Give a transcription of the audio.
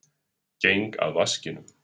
Geng að vaskinum.